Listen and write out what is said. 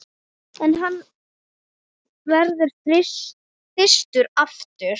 Ef hann verður þyrstur aftur.